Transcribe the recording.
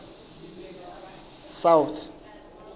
south